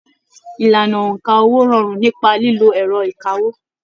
Ìlànà óńka owó rọrùn nípa lílo ẹrọ ìkáwó.